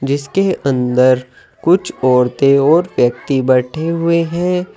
इसके अंदर कुछ औरतें और व्यक्ति बैठे हुए हैं।